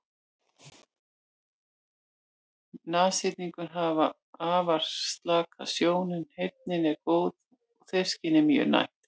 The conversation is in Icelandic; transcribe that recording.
Nashyrningar hafa afar slaka sjón en heyrnin er góð og þefskynið mjög næmt.